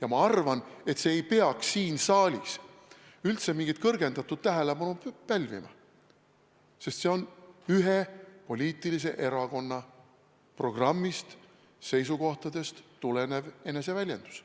Aga ma arvan, et see ei peaks siin saalis üldse mingit suurt tähelepanu pälvima, sest see on ühe erakonna poliitilisest programmist ja seisukohtadest tulenev eneseväljendus.